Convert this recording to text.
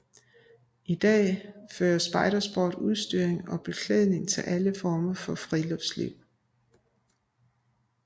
I dag fører Spejder Sport udstyr og beklædning til alle former for friluftsliv